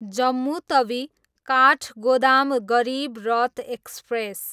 Jammu Tawi, Kathgodam Garib Rath express